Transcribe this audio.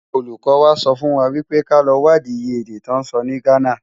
Ólúkò wá sòfúnwá wipé ká lò wádi iyé èdè tò nsò ni Ghana.